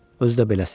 Özü də beləsi.